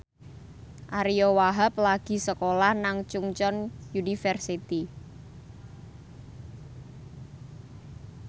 Ariyo Wahab lagi sekolah nang Chungceong University